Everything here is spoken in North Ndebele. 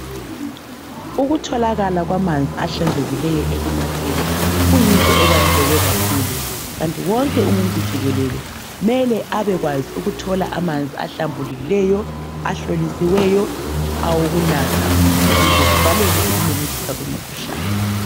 Ukutholakala kwamanzi ahlanzekileyo ekunatheni kuyinto ebaluleke kakhulu. kanti wonke umuntu jikelele mele abekwazi ukuthola amanzi ahlambulukileyo, ahlolisiweyo, awokunatha ukuze kuvalelwe ukumemetheka kwemikhuhlane.